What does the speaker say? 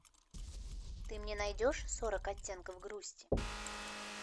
ты мне найдешь сорок оттенков грусти